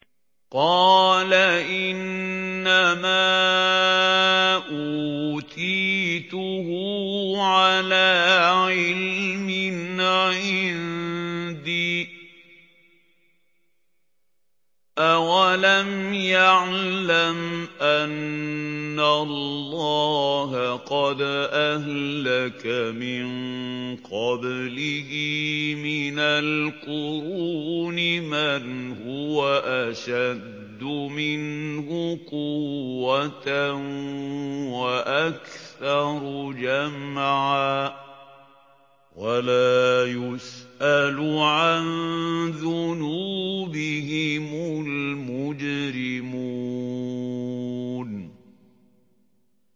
قَالَ إِنَّمَا أُوتِيتُهُ عَلَىٰ عِلْمٍ عِندِي ۚ أَوَلَمْ يَعْلَمْ أَنَّ اللَّهَ قَدْ أَهْلَكَ مِن قَبْلِهِ مِنَ الْقُرُونِ مَنْ هُوَ أَشَدُّ مِنْهُ قُوَّةً وَأَكْثَرُ جَمْعًا ۚ وَلَا يُسْأَلُ عَن ذُنُوبِهِمُ الْمُجْرِمُونَ